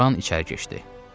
Loran içəri keçdi.